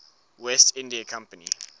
west india company